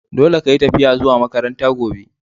Dolle ka yi tafiya zuwa makaranta gobe!